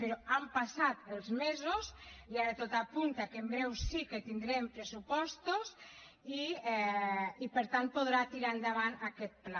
però han passat els mesos i ara tot apunta que en breu sí que tindrem pressupostos i per tant podrà tirar endavant aquest pla